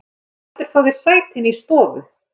Viltu ekki heldur fá þér sæti inni í stofu?